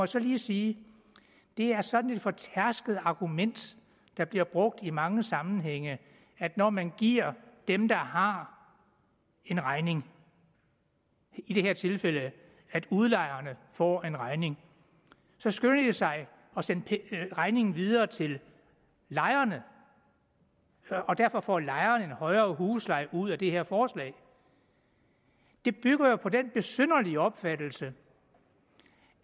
så lige sige det er sådan et fortærsket argument der bliver brugt i mange sammenhænge at når man giver dem der har en regning i det her tilfælde at udlejerne får en regning så skynder de sig at sende regningen videre til lejerne og derfor får lejerne en højere husleje ud af det her forslag det bygger jo på den besynderlige opfattelse